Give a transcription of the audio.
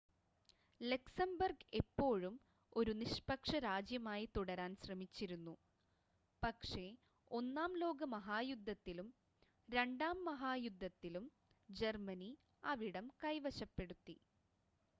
Luxembourg എപ്പോഴും ഒരു നിഷ്‌പക്ഷ രാജ്യമായി തുടരാൻ ശ്രമിച്ചിരുന്നു പക്ഷേ ഒന്നാം ലോക മഹായുദ്ധത്തിലും രണ്ടാം ലോക മഹായുദ്ധത്തിലും ജർമ്മനി അവിടം കൈവശപ്പെടുത്തി